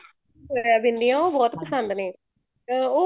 ਰਹਿ ਦੇਨੇ ਉਹ ਬਹੁਤ ਪਸੰਦ ਨੇ ਅਹ ਉਹ